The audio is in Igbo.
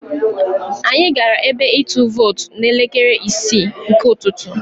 Anyị gara ebe ịtụ vootu n'elekere isii nke ụtụtụ.